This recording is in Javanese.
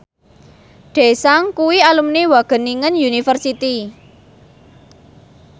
Daesung kuwi alumni Wageningen University